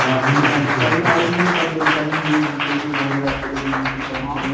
ହଁ ତାଙ୍କୁ କହିବୁ arrangement କରିଦେବେ କାରଣ କିଆ କୋଉଠି ଘରେ ରାତିରେ କୋଉଠି ଯିବେ ନା କଣ କରିବେ?